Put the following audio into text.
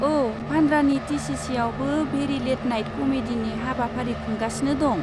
औ, भान्द्रानि टि.चि.चि.आवबो भेरि लेट नाइट क'मेडिनि हाबाफारि खुंगासिनो दं।